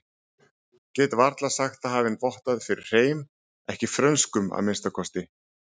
Get varla sagt það hafi vottað fyrir hreim, ekki frönskum að minnsta kosti.